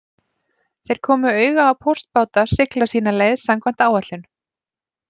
Þeir komu auga á póstbáta sigla sína leið samkvæmt áætlun